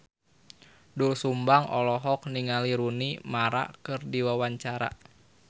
Doel Sumbang olohok ningali Rooney Mara keur diwawancara